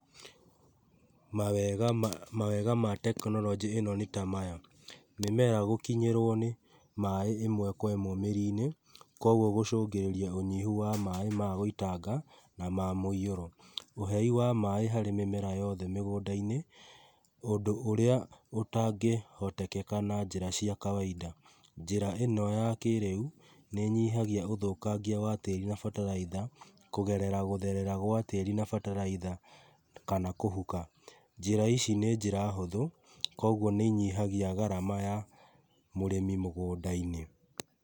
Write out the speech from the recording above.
Mawega ma tekinoronjĩ ĩno nĩ ta maya: mĩmera gũkinyĩrwo nĩ maaĩ ĩmwe kwa ĩmwe mĩri-inĩ, kwoguo gũcũngĩrĩria ũnyihu wa maaĩ magũitanga na ma mũihũro, ũhei wa maaĩ harĩ mĩmera yothe mũgũnda-inĩ, ũndũ ũrĩa ũtangĩhotekeka na njĩra cia kawainda. Njĩra ĩno ya kĩrĩu, nĩ ĩnyihagia ũthũkangia wa tĩri na bataraitha kũgerera gũtherera gwa tĩri na bataraitha, kana kũhuka. Njĩra ici nĩ njĩra hũthũ, kwoguo nĩinyihagia garama ya mũrĩmi mũgũnda-inĩ.